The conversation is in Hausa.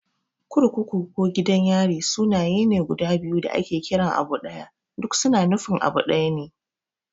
Kurkuku ko Gidan yari sunaye ne guda biyu da ake kiran abu ɗaya. Duk su na nufin abu ɗaya ne.